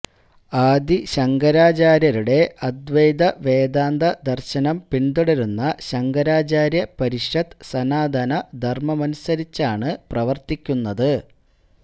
ആദി ശങ്കരാചാര്യരുടെ അദൈ്വത വേദാന്ത ദര്ശനം പിന്തുടരുന്ന ശങ്കരാചാര്യ പരിഷത്ത് സനാതന ധര്മമനുസരിച്ചാണ് പ്രവര്ത്തിക്കുന്നത്